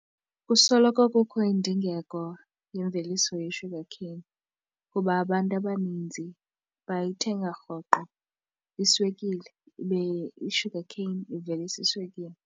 Kusoloko kukho indingeko yemveliso ye-sugar cane kuba abantu abaninzi bayithenga rhoqo iswekile ibe i-sugar cane ivelisa iswekile.